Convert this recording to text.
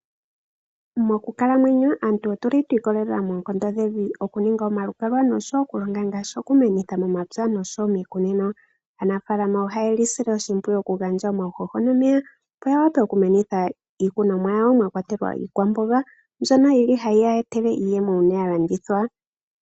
Mokukalamwenyo aantu otu li twiikolelela moonkondo dhevi okuninga omalukalwa oshowo okulonga ngaashi okumenitha momapya noshowo miikunino. Aanafalama oha ye li sile oshimpwiyu okugandja omauhoho nomeya opo ya wape okumenitha iikunomwa yawo mwa kwatelwa iikwamboga mbyono yi li hayi ya etele oshimaliwa uuna ya landithwa.